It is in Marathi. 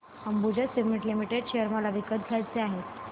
अंबुजा सीमेंट लिमिटेड शेअर मला विकत घ्यायचे आहेत